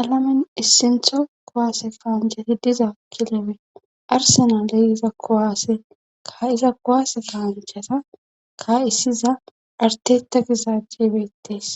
alamin issintho kowaase kaanchati diza kilebe arsena ley iza kowaase ka iza kuwaase kaanchata ka issiza artetagizajjebettees.